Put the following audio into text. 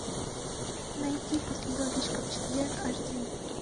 найти после дождичка в четверг аш ди